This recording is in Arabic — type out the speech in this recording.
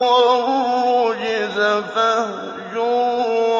وَالرُّجْزَ فَاهْجُرْ